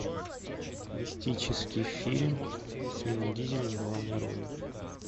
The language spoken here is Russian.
мистический фильм с вином дизелем в главной роли